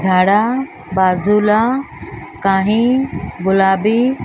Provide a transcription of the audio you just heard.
झाडा बाजूला काही गुलाबी --